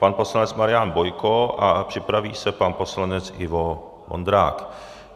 Pan poslanec Marian Bojko a připraví se pan poslanec Ivo Vondrák.